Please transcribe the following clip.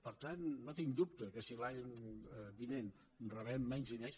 per tant no tinc dubte que si l’any vinent rebem menys diners